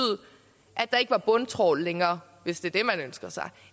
at der ikke var bundtrawl længere hvis det er det man ønsker sig